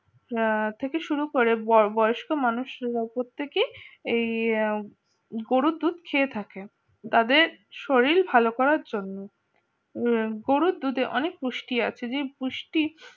আহ থেকে শুরু করে বর বয়স্ক মানুষের উপর থেকে এই গরুর দুধ খেয়ে থাকে তাদের শরীর ভালো করার জন্য গরুর দুধে অনেক পুষ্টি আছে যে পুষ্টি